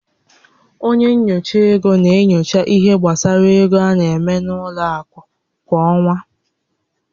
Onye nyocha ego na-enyocha ihé gbasara égo a na-eme n'ime ụlọ akụ kwa ọ́nwá